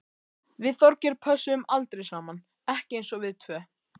Við Þorgeir pössuðum aldrei saman, ekki eins og við tvö.